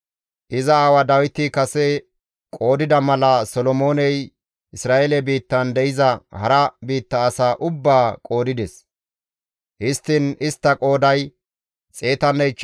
Iza aawa Dawiti kase qoodida mala, Solomooney Isra7eele biittan de7iza hara biitta asaa ubbaa qoodides; histtiin istta qooday 153,600 gidides.